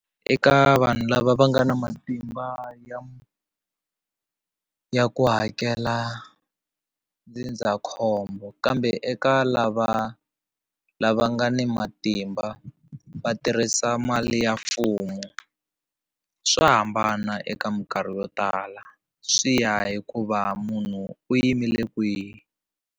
Eka vanhu lava va nga na matimba ya ya ku hakela ndzindzakhombo kambe eka lava lava nga ni matimba va tirhisa mali ya mfumo swa hambana eka minkarhi yo tala swi ya hikuva munhu u yimile kwihi.